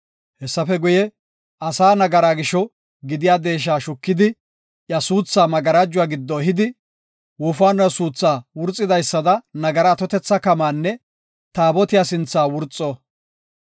Hessafe guye, asaa nagaraa gisho gidiya deesha shukidi, iya suuthaa magarajuwa giddo ehidi, wofaanuwa suutha wurxidaysada nagara atotetha kamaanne Taabotiya sinthaa wurxo.